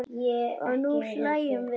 Og nú hlæjum við bæði.